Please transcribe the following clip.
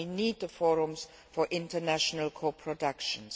So we need the forums for international co productions.